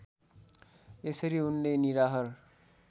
यसरी उनले निराहार